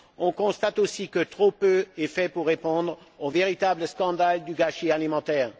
On constate aussi que trop peu est fait pour répondre au véritable scandale du gâchis alimentaire.